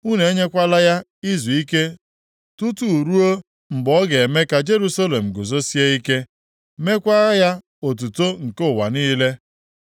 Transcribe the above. Unu enyekwala ya izuike tutu ruo mgbe ọ ga-eme ka Jerusalem guzosie ike, meekwa ya otuto nke ụwa niile.